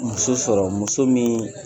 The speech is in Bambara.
Muso sɔrɔ muso min